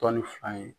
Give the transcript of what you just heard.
Tɔnni fan ye